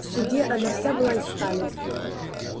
в суде она вся была из стали